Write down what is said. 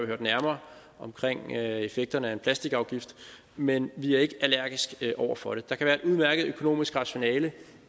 hørt nærmere om effekterne af en plastikafgift men vi er ikke allergiske over for det der kan være et udmærket økonomisk rationale